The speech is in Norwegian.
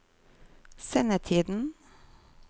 sendetiden